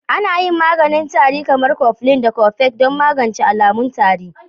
Ana yin maganin tari kamar kofilin da kofeks don magance alamun tari.